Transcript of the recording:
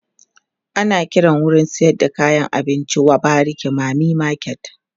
ana Kiran wurin sayar da kayan abinci w bariki mami market